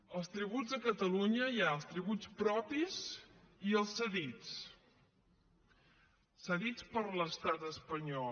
dels tributs a catalunya hi ha els tributs propis i els cedits cedits per l’estat espanyol